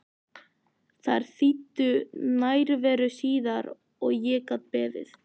Þær þýddu nærveru síðar og ég gat beðið.